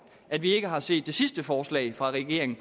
at vi ikke har set det sidste forslag fra regeringen